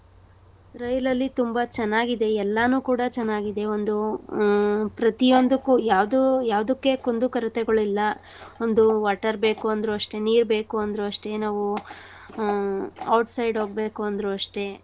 ರೈಲಲ್ಲಿ ತುಂಬಾ ಚನ್ನಾಗಿದೆ. ಎಲ್ಲಾನು ಕೂಡಾ ಚನ್ನಾಗಿದೆ. ಒಂದು ಆ ಪ್ರತಿಯೊಂದಕ್ಕೂ ಯಾವ್ದೂ~ ಯಾವ್ದುಕ್ಕೆ ಕುಂದು ಕೊರತೆಗಳಿಲ್ಲ. ಒಂದು water ಬೇಕು ಅಂದ್ರು ಅಷ್ಟೇ. ನೀರ್ಬೇಕೂ ಅಂದ್ರು ಅಷ್ಟೇ. ನಾವು ಆ outside ಹೋಗ್ಬೇಕು ಅಂದ್ರು ಅಷ್ಟೇ.